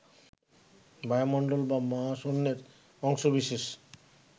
বায়ুমণ্ডল বা মহাশূন্যের অংশবিশেষ